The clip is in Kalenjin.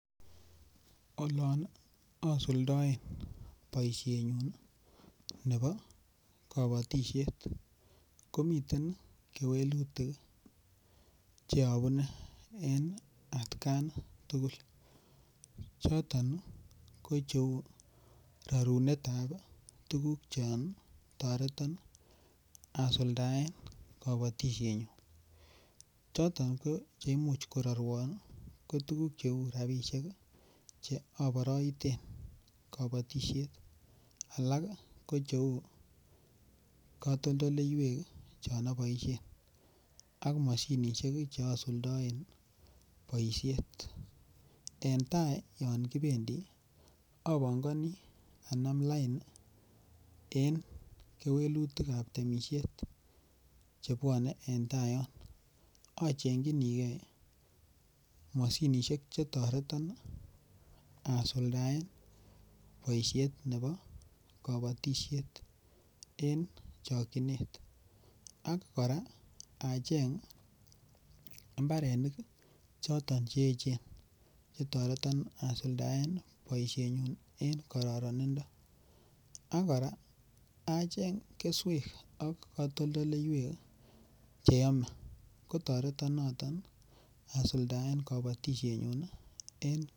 Olon asuldaen boisienyun nebo kabatisiet komiten kewelutik Che abune en atkai tugul choton ko cheu rorunetab tuguk chon toreton asuldaen kobotisienyun choton Che Imuch kororwon ko tuguk cheu rabisiek Che aboroiten kabatisiet alak ko Cheu katoldoleywek chon aboisien ak mashinisiek Che asuldaen boisiet en tai yon kibendi apongoni anam lain en kewelutik ab temisiet Che bwone en tai yon achengchinigei mashinisiek Che toreton asuldaen boisiet nebo kabatisiet en chokyinet ak kora acheng mbarenik choton che echen Che toreton asuldaen boisienyun en kararanindo ak kora acheng keswek ak katoldoleywek Che yome kotoreton noton asuldaen kabatisienyun